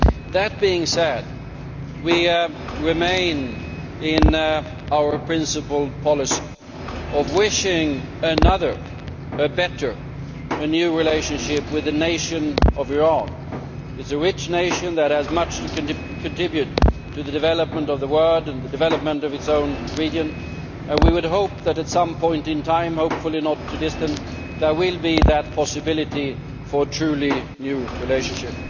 That being said, we remain in our principled policy of wishing another, a better, a new relationship with the nation of Iran. It is a rich nation that has much to contribute to the development of the world and the development of its own region, and we would hope that at some point in time hopefully not too distant there will be that possibility for a truly new relationship.